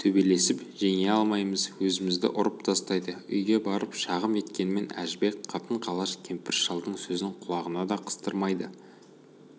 төбелесіп жеңе алмаймыз өзімізді ұрып тастайды үйге барып шағым еткенмен әжібек қатын-қалаш кемпір-шалдың сөзін құлағына да қыстырмайды